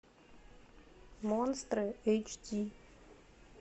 монстры эйч ди